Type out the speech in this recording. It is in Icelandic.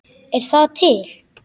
Er það til?